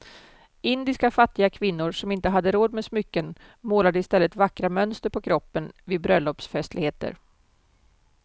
Indiska fattiga kvinnor som inte hade råd med smycken målade i stället vackra mönster på kroppen vid bröllopsfestligheter.